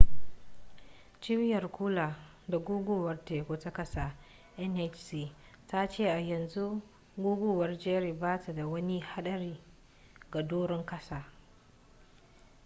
cibiyar kula da guguwar teku ta kasa nhc ta ce a yanzu guguwar jerry ba ta da wani hadari ga doron kasa